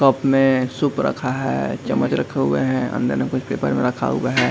Cup मे soup रखा है चम्मच रखे हुए हैं अंदर मे कुछ पेपर रखा हुआ है।